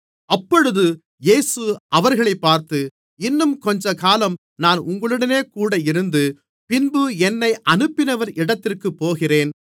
அப்பொழுது இயேசு அவர்களைப் பார்த்து இன்னும் கொஞ்சக்காலம் நான் உங்களோடுகூட இருந்து பின்பு என்னை அனுப்பினவர் இடத்திற்குப் போகிறேன்